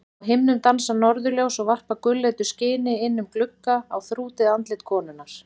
Á himnum dansa norðurljós og varpa gulleitu skini inn um glugga á þrútið andlit konunnar.